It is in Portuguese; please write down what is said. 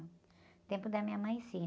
No tempo da minha mãe, sim.